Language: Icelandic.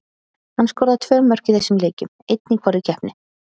Hann skoraði tvö mörk í þessum leikjum, einn í hvorri keppni.